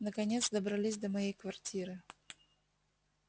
наконец добрались до моей квартиры